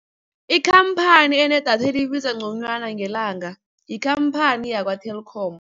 Ikhamphani enedatha elibiza ngconywana ngelanga, yikhamphani yakwa-Telkom.